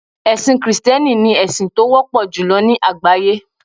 ẹsìn Kristẹni ni esin ti o wọpọ julọ ni àgbáyé